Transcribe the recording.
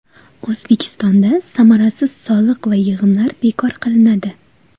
O‘zbekistonda samarasiz soliq va yig‘imlar bekor qilinadi.